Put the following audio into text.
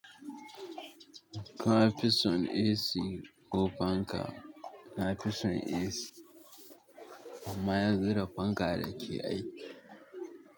Ka fison AC ko fanka? Na fi son AC amma yanzu da fanka nake aiki.